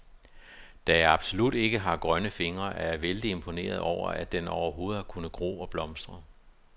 Da jeg absolut ikke har grønne fingre, er jeg vældig imponeret over, at den overhovedet har kunnet gro og blomstre.